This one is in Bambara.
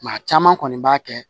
Maa caman kɔni b'a kɛ